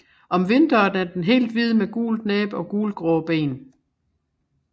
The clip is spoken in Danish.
Om vinteren er den helt hvid med gult næb og gulgrå ben